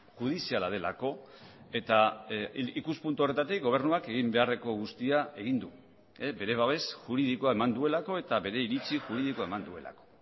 judiziala delako eta ikuspuntu horretatik gobernuak egin beharreko guztia egin du bere babes juridikoa eman duelako eta bere iritzi juridikoa eman duelako